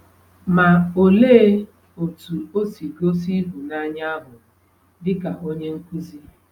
Ma, olee otú o si gosi ịhụnanya ahụ dịka onye nkuzi?